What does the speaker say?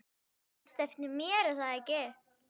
Þú manst eftir mér, er það ekki?